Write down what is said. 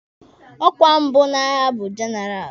Ọkwa mbụ n'agha bụ jenaralụ.